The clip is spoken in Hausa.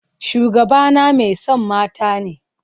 Shugabana mai son mata ne.